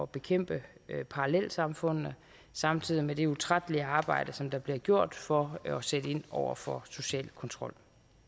bekæmpe parallelsamfundene samtidig med det utrættelige arbejde som der bliver gjort for at sætte ind over for social kontrol